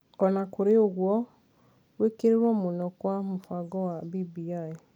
O na kũrĩ ũguo, gwĩkĩrĩrũo mũno kwa mũbango wa BBI ,